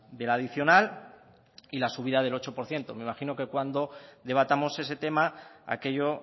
de la adicional y la subida del ocho por ciento me imagino que cuando debatamos ese tema aquello